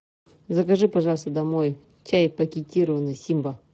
закажи пожалуйста домой чай пакетированный симба